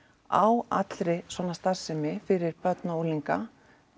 á allri svona starfsemi fyrir börn og unglinga